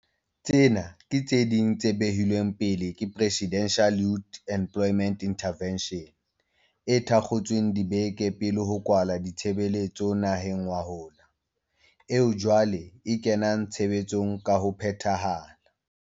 Tsena ke tse ding tse behilweng pele ke Presidential Youth Employment Intervention, e thakgotsweng dibeke pele ho kwalwa ditshebeletso naheng ngwahola, eo jwale e kenang tshebetsong ka ho phethahala.